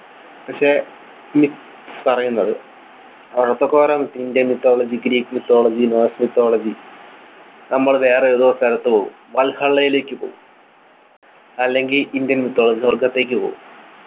പക്ഷെ മിക് പറയുന്നത് Indian mythology Greek mythology mythology നമ്മൾ വേറെ ഏതോ സ്ഥലത്തു പോകും വൽഹെള്ളയിലേക്ക് പോകും അല്ലെങ്കി Indian mythology സ്വർഗത്തേക്ക് പോകും